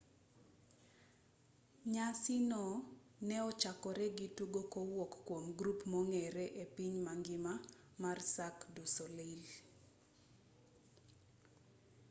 nyasi go ne ochakore gi tugo kowuok kwom grup mong'ere e piny mangima mar cirque du soleil